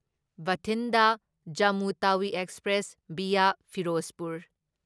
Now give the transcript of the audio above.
Bathinda Jammu Tawi express via Firozpur